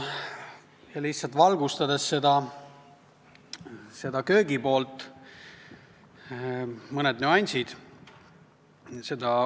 Lihtsalt valgustades köögipoolt, toon välja mõne nüansi.